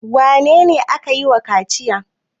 Wane ne ake yi wa kaciya?